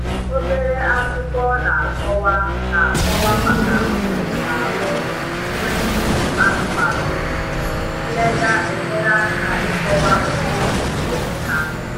Obere akwụkwọ na akọwa na akọwa maka nri na arụ nri ụmụ anụmanụ riri nnega enyere aka ikọwa otu esi enye ha nri